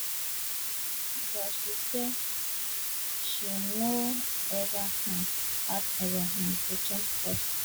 but she say she no ever um ask navalny um to change course